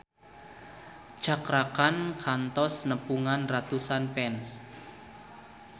Cakra Khan kantos nepungan ratusan fans